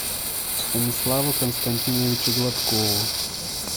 станиславу константиновичу гладкову